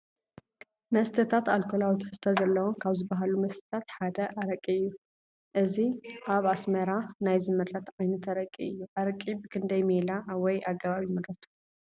መስተታት፡- ኣልኮላዊ ትሕዝቶ ዘለዎም ካብ ዝባሃሉ መስተታት ሓደ ኣረቂ እዩ፡፡ እዚ ኣብ ኣስመራ ናይ ዝምረት ዓይነት ኣረቂ እዩ፡፡ ኣረቂ ብክንደይ ሜላ ወይ ኣገባብ ይምረቱ?